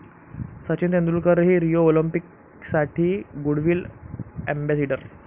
सचिन तेंडुलकरही रिओ ऑलिम्पिकसाठी goodwill ambassador